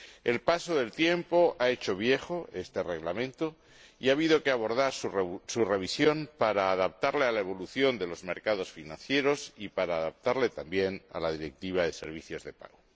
El paso del tiempo ha hecho viejo este Reglamento y ha habido que abordar su revisión para adaptarlo a la evolución de los mercados financieros y para adaptarlo también a la Directiva sobre servicios de pago.